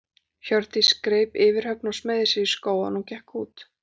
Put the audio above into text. Hjördís greip yfirhöfn og smeygði sér í skó áður en hún gekk út.